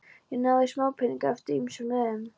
Ég náði í smápeninga eftir ýmsum leiðum.